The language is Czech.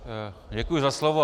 Děkuji za slovo.